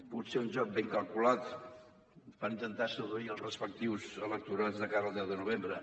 potser un joc ben calculat per intentar seduir els respectius electorats de cara al deu de novembre